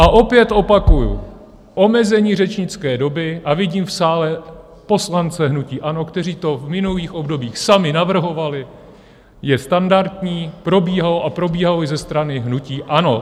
A opět opakuju, omezení řečnické doby, a vidím v sále poslance hnutí ANO, kteří to v minulých obdobích sami navrhovali, je standardní, probíhalo, a probíhalo i ze strany hnutí ANO.